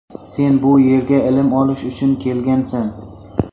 Sen bu yerga ilm olish uchun kelgansan.